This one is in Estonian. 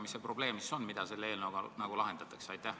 Mis küsimust selle eelnõuga tahetakse lahendada?